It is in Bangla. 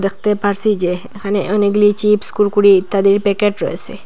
দেখতে পারসি যে এখানে অনেকগুলি চিপস্ কুরকুড়ে ইত্যাদির প্যাকেট রয়েসে।